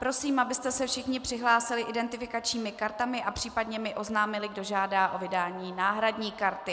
Prosím, abyste se všichni přihlásili identifikačními kartami a případně mi oznámili, kdo žádá o vydání náhradní karty.